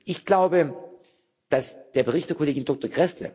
Ich glaube, dass der Bericht der Kollegin Dr.